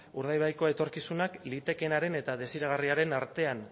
urdaibaiko etorkizunak litekeenaren eta desiragarriaren artean